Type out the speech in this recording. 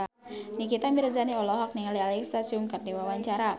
Nikita Mirzani olohok ningali Alexa Chung keur diwawancara